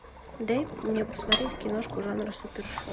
дай мне посмотреть киношку жанра супершоу